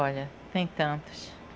Olha, tem tantos.